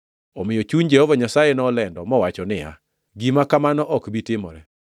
Omiyo chuny Jehova Nyasaye nolendo mowacho niya, “Gima kamano ok bi timore.”